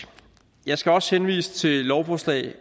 jeg skal også henvise til lovforslag